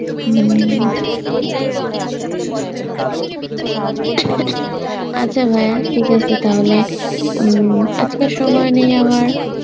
উম caughing আচ্ছা ভায়া ঠিক আছে তাহলে উম আজকে আর সময় নেই আমার